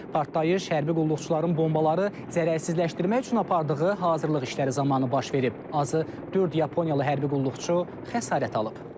Partlayış hərbi qulluqçuların bombaları zərərsizləşdirmək üçün apardığı hazırlıq işləri zamanı baş verib, azı dörd yaponiyalı hərbi qulluqçu xəsarət alıb.